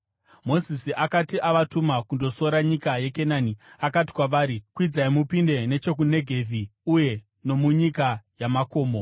Mozisi akati avatuma kundosora nyika yeKenani, akati kwavari, “Kwidzai mupinde nechokuNegevhi uye nomunyika yamakomo.